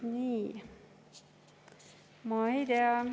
Nii, ma ei tea.